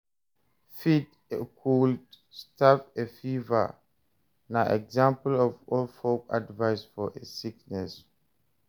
Feed a cold, starve a fever na example of old folk advice for a sickness